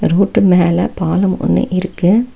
Road மேல பாளம் ஒன்னு இருக்கு.